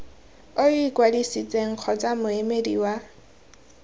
o ikwadisitseng kgotsa moemedi wa